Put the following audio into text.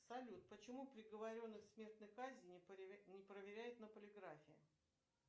салют почему приговоренных к смертной казни не проверяют на полиграфе